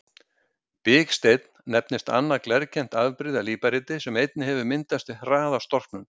Biksteinn nefnist annað glerkennt afbrigði af líparíti sem einnig hefur myndast við hraða storknun.